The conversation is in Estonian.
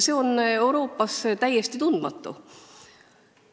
See on Euroopas täiesti tundmatu variant.